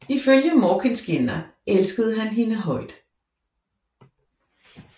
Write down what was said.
Ifølge Morkinskinna elskede han hende højt